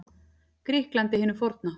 Grikklandi hinu forna.